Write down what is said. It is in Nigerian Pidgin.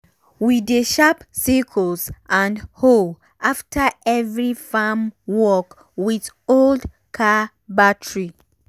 we dey sharp sickles and hoe after every farm work with old car battery.